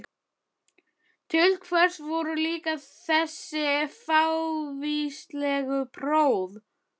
Til hvers voru líka þessi fávíslegu próf?